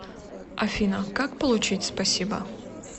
афина как получить спасибо